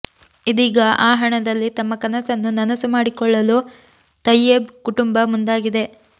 ಇದೀಗ ಆ ಹಣದಲ್ಲಿ ತಮ್ಮ ಕನಸನ್ನು ನನಸು ಮಾಡಿಕೊಳ್ಳಲು ತಯ್ಯೇಬ್ ಕುಟುಂಬ ಮುಂದಾಗಿದೆ